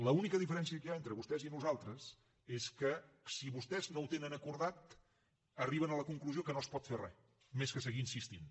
l’única diferència que hi ha entre vostès i nosaltres és que si vostès no ho tenen acordat arriben a la conclusió que no es pot fer re més que seguir insistint